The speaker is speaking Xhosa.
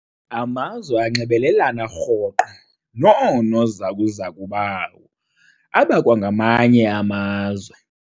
Amazwe anxibelelana rhoqo noonozakuzaku bawo abakwamanye amazwe.